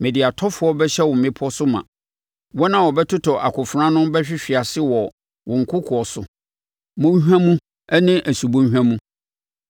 Mede atɔfoɔ bɛhyɛ wo mmepɔ so ma; wɔn a wɔbɛtotɔ akofena ano bɛhwehwe ase wɔ wo nkokoɔ so, mmɔnhwa mu ne wo subɔnhwa mu.